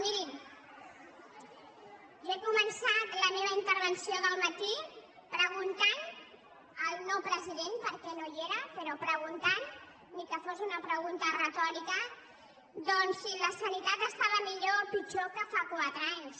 mirin la meva intervenció del matí preguntant al no president perquè no hi era però preguntant ni que fos una pregunta retòrica doncs si la sanitat estava millor o pitjor que fa quatre anys